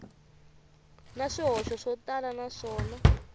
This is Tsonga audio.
na swihoxo swo tala naswona